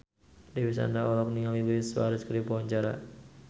Dewi Sandra olohok ningali Luis Suarez keur diwawancara